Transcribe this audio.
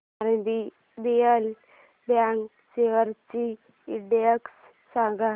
RBL bank shares चा index सांगा